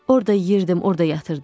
Orda yeyirdim, orda yatırdım.